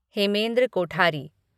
Hemendra Kothari